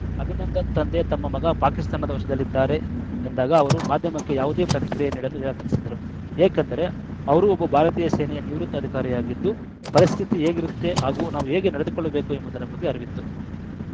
ಅಭಿನಂದನ್‌ ತಂದೆ ತಮ್ಮ ಮಗ ಪಾಕಿಸ್ತಾನದ ವಶದಲ್ಲಿದ್ದಾರೆ ಎಂದಾಗ ಅವರು ಮಾಧ್ಯಮಕ್ಕೆ ಯಾವುದೇ ಪ್ರತಿಕ್ರಿಯೆ ನೀಡಲು ನಿರಾಕರಿಸಿದ್ದರು ಏಕೆಂದರೆ ಅವರೂ ಒಬ್ಬ ಭಾರತೀಯ ಸೇನೆಯ ನಿವೃತ್ತ ಅಧಿಕಾರಿಯಾಗಿದ್ದು ಪರಿಸ್ಥಿತಿ ಹೇಗಿರುತ್ತೆ ಹಾಗೂ ನಾವು ಹೇಗೆ ನಡೆದುಕೊಳ್ಳಬೇಕು ಎಂಬುದರ ಬಗ್ಗೆ ಅರಿವಿತ್ತು